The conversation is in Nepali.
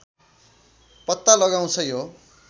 पत्ता लगाउँछ यो